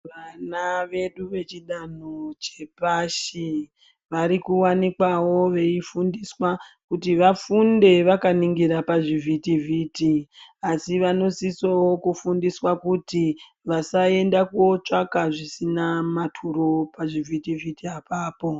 Vana vedu vechidanho chepashi ,vari kuwanikwawo veifundiswa, kuti vafunde vakaningira pazvitivhiti, asi vanosisawo kufundiswa kui vasaenda kootsvaka zvisina maturo pavhitivhiti apapo.